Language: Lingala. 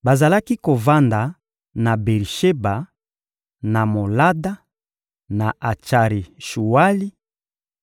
Bazalaki kovanda na Beri-Sheba, na Molada, na Atsari-Shuwali,